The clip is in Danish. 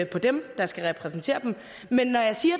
på dem der skal repræsentere dem men når jeg siger